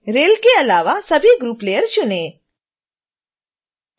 rail के अलावा सभी ग्रुप लेयर चुनें